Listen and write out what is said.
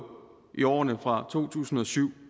i årene fra to tusind og syv